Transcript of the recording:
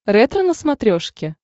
ретро на смотрешке